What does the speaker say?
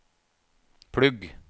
plugg